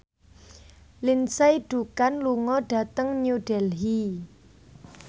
Lindsay Ducan lunga dhateng New Delhi